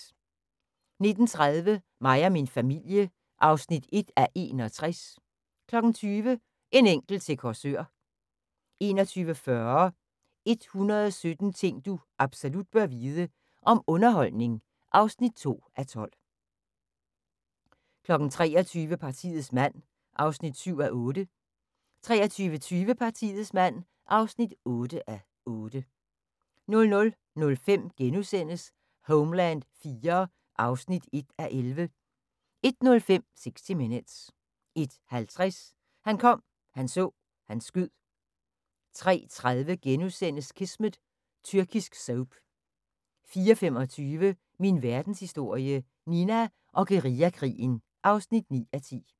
19:30: Mig og min familie (1:61) 20:00: En enkelt til Korsør 21:40: 117 ting du absolut bør vide – om underholdning (2:12) 23:00: Partiets mand (7:8) 23:20: Partiets mand (8:8) 00:05: Homeland IV (1:11)* 01:05: 60 Minutes 01:50: Han kom, han så, han skød 03:30: Kismet – tyrkisk soap * 04:25: Min Verdenshistorie – Nina og guerillakrigen (9:10)